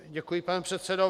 Děkuji, pane předsedo.